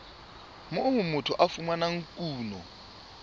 moo motho a fumanang kuno